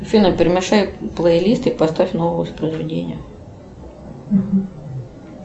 афина перемешай плейлист и поставь новое воспроизведение